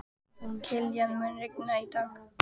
Kilían, mun rigna í dag?